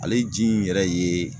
Ale ji in yɛrɛ ye